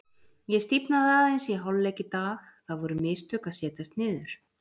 Ég stífnaði aðeins í hálfleik í dag, það voru mistök að setjast niður.